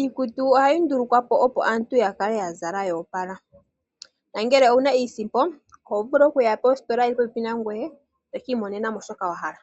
Iikutu ohayi nduulukwapo opo aantu yakale yazala yoopala, nangele owuna iisimpo oho vulu okuya positola yili popepi nangoye toki imonenamo shoka wahala.